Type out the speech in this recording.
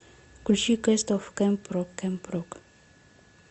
включи кэст оф кэмп рок кэмп рок